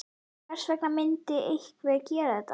Hvers vegna myndi einhver gera þetta?